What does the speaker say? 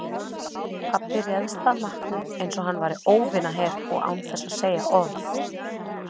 Pabbi réðst að matnum einsog hann væri óvinaher og án þess að segja orð.